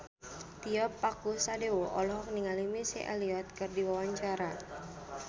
Tio Pakusadewo olohok ningali Missy Elliott keur diwawancara